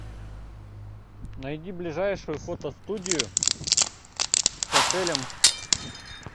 найди ближайшую фотостудию с отелем